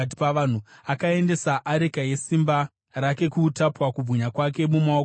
Akaendesa areka yesimba rake kuutapwa, kubwinya kwake mumaoko omuvengi.